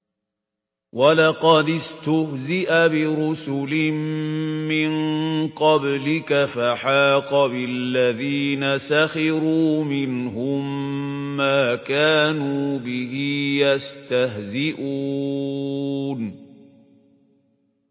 وَلَقَدِ اسْتُهْزِئَ بِرُسُلٍ مِّن قَبْلِكَ فَحَاقَ بِالَّذِينَ سَخِرُوا مِنْهُم مَّا كَانُوا بِهِ يَسْتَهْزِئُونَ